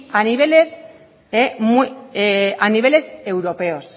a niveles europeos